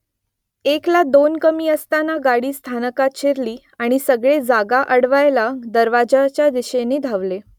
एकला दोन कमी असताना गाडी स्थानकात शिरली आणि सगळे जागा अडवायला दरवाज्याच्या दिशेने धावले